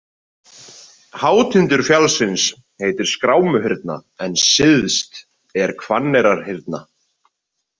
Hátindur fjallsins heitir Skrámuhyrna en syðst er Hvanneyrarhyrna.